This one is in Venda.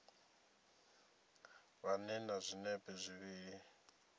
vha ḓe na zwinepe zwivhili